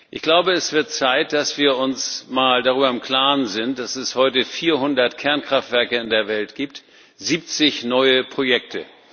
Ich glaube, es wird Zeit, dass wir uns mal darüber im Klaren sind, dass es heute 400 Kernkraftwerke auf der Welt gibt, 70 neue Projekte.